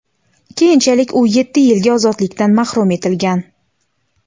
Keyinchalik u yetti yilga ozodlikdan mahrum etilgan.